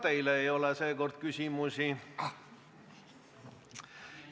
Ka teile ei ole küsimusi.